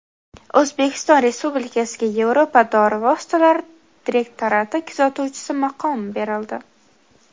O‘zbekiston Respublikasiga Yevropa dori vositalari direktorati kuzatuvchisi maqomi berildi.